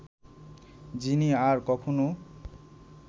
যিনি আর কখনো